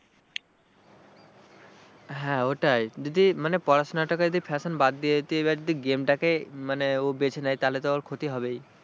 হ্যাঁ ওটাই যদি মানে পড়াশোনাটাকে যদি fashion বাদ দিয়ে এবার যদি game টাকে মানে ও বেছে নেয় তাহলে তো ওর ক্ষতি হবেই।